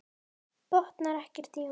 Botnar ekkert í honum.